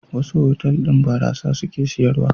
Wasu otal-otal ɗin barasa suke sayarwa.